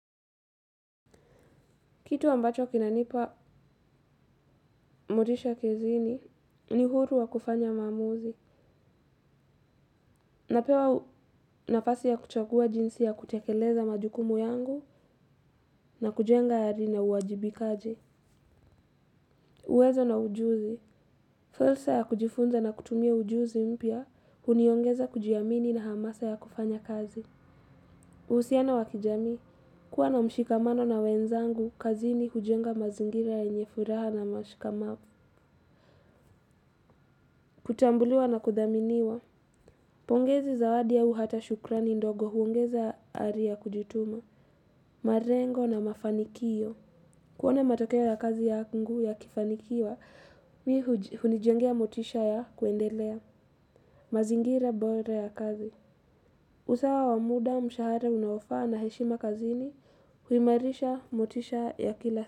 Kitu ambacho kinanipa motisha kazini ni huru wa kufanya maamuzi, napewa nafasi ya kuchagua jinsi ya kutekeleza majukumu yangu na kujenga ari na uwajibikaji. Uwezo na ujuzi, fursa ya kujifunza na kutumia ujuzi mpya, huniongeza kujiamini na hamasa ya kufanya kazi. Uhusiano wa kijamii, kuwa na mshikamano na wenzangu kazini hujenga mazingira yenye furaha na mashikamavu. Kutambuliwa na kudhaminiwa. Pongezi zawadi au hata shukrani ndogo huongeza ari ya kujituma. Marengo na mafanikio. Kuona matokea ya kazi yangu yakifanikiwa, mimi hunijengea motisha ya kuendelea. Mazingira bora ya kazi. Usawa wa muda, mshahara unaofaa na heshima kazini, huimarisha motisha ya kila.